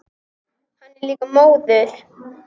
Hann er líka móður.